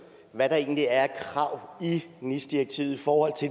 hvad der egentlig er af krav i nis direktivet i forhold til